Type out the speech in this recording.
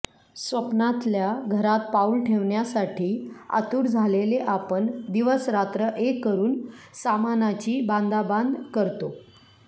स्वप्नातल्या घरात पाऊल ठेवण्यासाठी आतूर झालेले आपण दिवस रात्र एक करून सामानाची बांधाबांध करतो